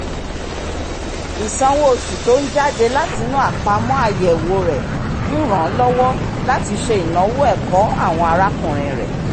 ìsanwó oṣù tó ń jáde látinú àpamọ́ àyẹ̀wò rẹ̀ ń ràn án lọ́wọ́ láti ṣe ináwó ẹ̀kọ́ àwọn arákùnrin rẹ̀